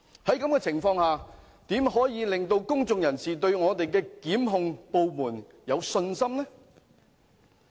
在這種情況下，如何令公眾人士對我們的檢控部門有信心呢？